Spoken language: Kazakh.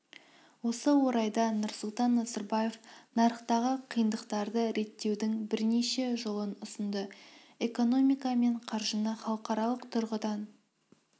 осы орайда нұрсұлтан назарбаев нарықтағы қиындықтарды реттеудің бірнеше жолын ұсынды экономика мен қаржыны халықаралық тұрғыдан